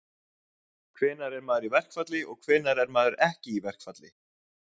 Hvenær er maður í verkfalli og hvenær er maður ekki í verkfalli?